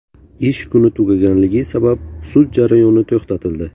Ish kuni tugaganligi sabab sud jarayoni to‘xtatildi.